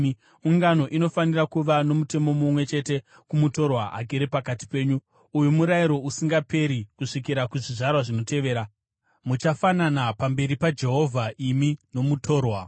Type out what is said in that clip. Ungano inofanira kuva nomutemo mumwe chete kumutorwa agere pakati penyu; uyu murayiro usingaperi kusvikira kuzvizvarwa zvinotevera. Muchafanana pamberi paJehovha imi nomutorwa.